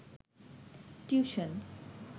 tuition